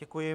Děkuji.